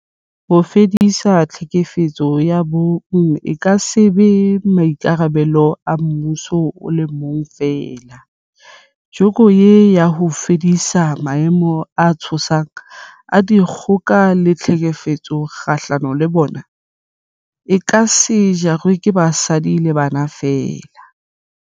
Ho fedisa tlhekefetso ya bong e ka se be maikarabelo a mmuso o le mong feela, joko eo ya ho fedisa maemo a tshosang a dikgoka le tlhekefetso kgahlano le bona, e ka se jarwe ke basadi le bana feela.